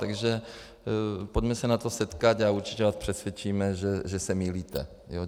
Takže pojďme se na to setkat a určitě vás přesvědčíme, že se mýlíte.